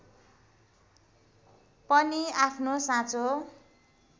पनि आफ्नो साँचो